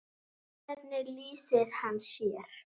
Hvernig lýsir hann sér?